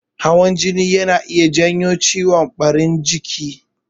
Hawan jini yana iya janyo ciwon ɓarin jiki.